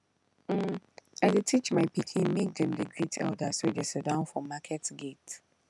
um i dey teach my pikin make dem dey greet elders wey dey sidon for market gate